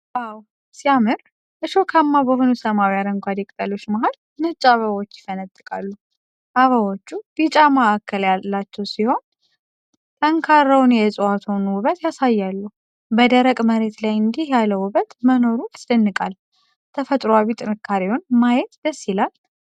ዋው ሲያምር! እሾካማ በሆኑ ሰማያዊ አረንጓዴ ቅጠሎች መሃል ነጭ አበባዎች ይፈነጥቃሉ። አበባዎቹ ቢጫ ማዕከል ያላቸው ሲሆን ጠንካራውን የዕፅዋቱን ውበት ያሳያሉ። በደረቅ መሬት ላይ እንዲህ ያለ ውበት መኖሩ ያስደንቃል። ተፈጥሮአዊ ጥንካሬውን ማየት ደስ ይላል።